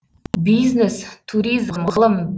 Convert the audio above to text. бизнес туризм ғылым